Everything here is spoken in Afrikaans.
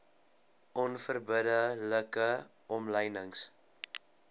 onverbidde like omlynings